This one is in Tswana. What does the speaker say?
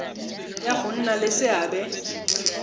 ya go nna le seabe